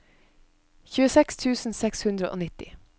tjueseks tusen seks hundre og nitti